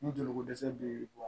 Ni joliko dɛsɛ bɛ bɔ